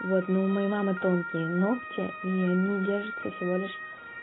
вот ну у моей мамы тонкие ногти и они держатся всего лишь